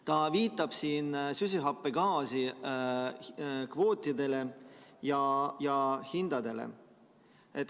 Ta viitab siin süsihappegaasi kvootidele ja hindadele.